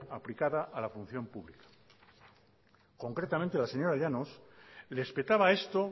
aplicada a la función pública concretamente la señora llanos le espetaba a esto